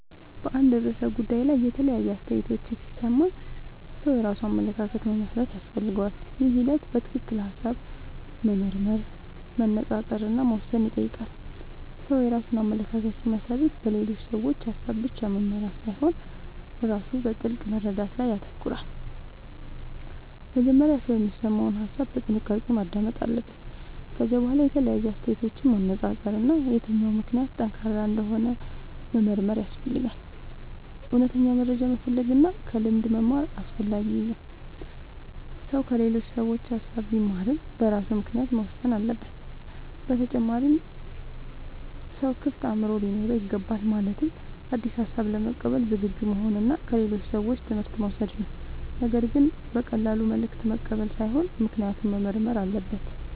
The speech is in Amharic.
በአንድ ርዕሰ ጉዳይ ላይ የተለያዩ አስተያየቶችን ሲሰማ ሰው የራሱን አመለካከት መመስረት ያስፈልገዋል። ይህ ሂደት በትክክል ሐሳብ መመርመር፣ መነጻጸር እና መወሰን ይጠይቃል። ሰው የራሱን አመለካከት ሲመሰርት በሌሎች ሰዎች ሐሳብ ብቻ መመራት ሳይሆን ራሱ በጥልቅ መረዳት ላይ ይተኮራል። መጀመሪያ ሰው የሚሰማውን ሐሳብ በጥንቃቄ ማዳመጥ አለበት። ከዚያ በኋላ የተለያዩ አስተያየቶችን ማነጻጸር እና የትኛው ምክንያት ጠንካራ እንደሆነ መመርመር ያስፈልጋል። እውነተኛ መረጃ መፈለግ እና ከልምድ መማር ደግሞ አስፈላጊ ነው። ሰው ከሌሎች ሰዎች ሐሳብ ቢማርም በራሱ ምክንያት መወሰን አለበት። በተጨማሪም ሰው ክፍት አእምሮ ሊኖረው ይገባል። ማለትም አዲስ ሐሳብ ለመቀበል ዝግጁ መሆን እና ከሌሎች ሰዎች ትምህርት መውሰድ ነው። ነገር ግን በቀላሉ መልእክት መቀበል ሳይሆን ምክንያቱን መመርመር አለበት።